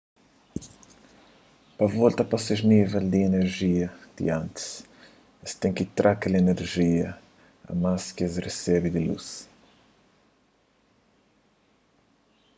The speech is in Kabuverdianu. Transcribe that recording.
pa volta pa ses nível di inerjia di antis es ten ki tra kel inerjia a más ki es resebe di lus